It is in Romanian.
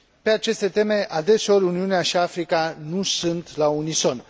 Pe aceste teme, adeseori, Uniunea și Africa nu sunt la unison.